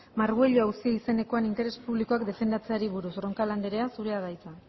margüello auzia izenekoan interes publikoak defendatzeari buruz roncal anderea zurea da hitza